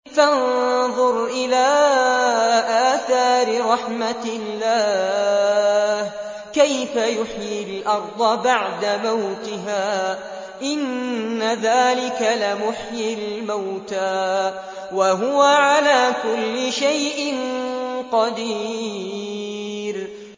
فَانظُرْ إِلَىٰ آثَارِ رَحْمَتِ اللَّهِ كَيْفَ يُحْيِي الْأَرْضَ بَعْدَ مَوْتِهَا ۚ إِنَّ ذَٰلِكَ لَمُحْيِي الْمَوْتَىٰ ۖ وَهُوَ عَلَىٰ كُلِّ شَيْءٍ قَدِيرٌ